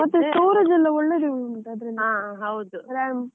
ಮತ್ತೆ storage ಎಲ್ಲ ಒಳ್ಳೆದೇ ಉಂಟು, RAM .